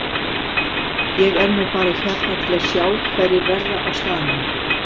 Ég er nú bara hérna til að sjá hverjir verða á staðnum.